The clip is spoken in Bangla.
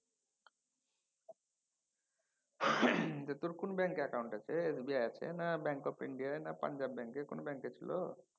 তোর কোন ব্যাঙ্কে account আছে। SBI আছে না Bank of India না পাঞ্জাব ব্যাঙ্কে কোন ব্যাঙ্কে ছিল?